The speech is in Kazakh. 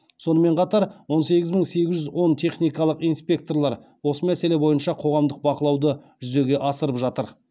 сонымен қатар он сегіз мың сегіз жүз он техникалық инспекторлар осы мәселе бойынша қоғамдық бақылауды жүзеге асырып жатыр